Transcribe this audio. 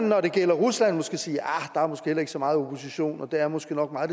når det gælder rusland måske sige ahr der er måske heller ikke så meget opposition og det er måske nok meget